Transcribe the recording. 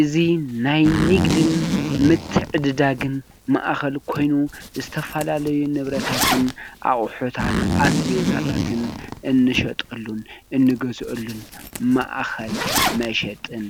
እዚ ናይ ንግድን ምትዕድዳግን ማእኸል ኮይኑ ዝተፈላለዩ ንብረታትን ኣቑሑታትን ኣስቤዛታትን እንሸጠሉን እንገዝአሉን ማእከል መሸጥን